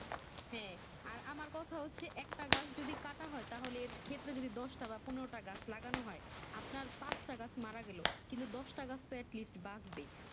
হ্যাঁ আর আমার কথা হচ্ছে একটা গাছ যদি কাটা হয় তাহলে ক্ষেত্র যদি দশটা বা পনেরোটা গাছ লাগানো হয় আপনার পাঁচটা গাছ মারা গেলো কিন্তু দোষটা গাছ তো at least বাঁচবে